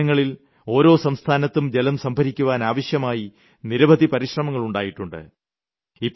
കഴിഞ്ഞ ദിനങ്ങളിൽ ഓരോ സംസ്ഥാനത്തും ജലം സംഭരിയ്ക്കുവാൻ ആവശ്യമായി നിരവധി പരിശ്രമങ്ങൾ ഉണ്ടായിട്ടുണ്ട്